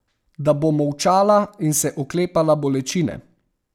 Da bo molčala in se oklepala bolečine.